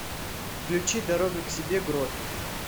включи дорога к себе грот